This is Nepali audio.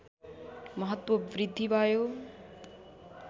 महत्त्व बृद्धि भयो